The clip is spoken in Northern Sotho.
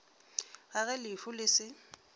ga ge lehu le se